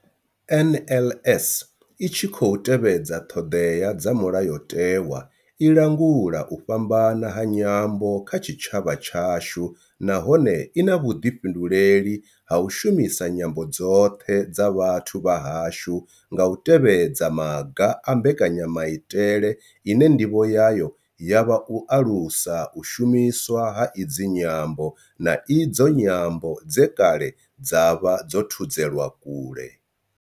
NLS I tshi khou tevhedza ṱhodea dza Mulayotewa, i langula u fhambana ha nyambo kha tshitshavha tshashu nahone I na vhuḓifhinduleli ha u shumisa nyambo dzoṱhe dza vhathu vha hashu nga u tevhedza maga a mbekanyamaitele ine ndivho yayo ya vha u alusa u shumiswa ha idzi nyambo, na idzo nyambo dze kale dza vha dzo thudzelwa kule.